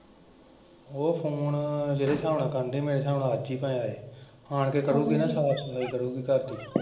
ਉਹ ਫੋਨ ਜਿਹੜੇ ਸਾਬ੍ਹ ਨਾਲ ਕਰਨ ਡਈ ਮੇਰਾ ਸਾਬ੍ਹ ਨਾਲ ਅੱਜ ਈ ਫੇਰ ਆਣ ਕੇ ਕਰੂਗੀ ਨਾ ਸਾਫ਼ ਸਫ਼ਾਈ ਕਰੂਗੀ ਘਰਦੀ ।